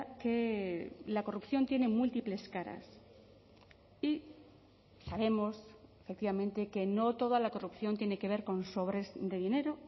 que la corrupción tiene múltiples caras y sabemos efectivamente que no toda la corrupción tiene que ver con sobres de dinero